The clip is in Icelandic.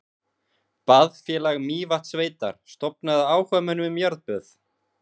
Baðfélag Mývatnssveitar stofnað af áhugamönnum um jarðböð.